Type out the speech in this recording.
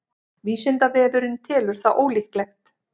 vísindavefurinn telur það ólíklegt